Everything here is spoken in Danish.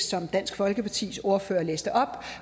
som dansk folkepartis ordfører læste op